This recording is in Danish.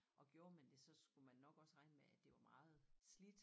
Og gjorde man det så skulle man nok også regne med at det var meget slidt